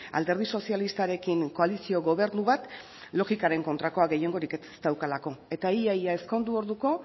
alderdi sozialistarekin koalizio gobernu bat logikaren kontrakoa gehiengorik ez daukalako eta ia ia ezkondu orduko